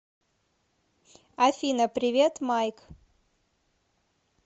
афина привет майк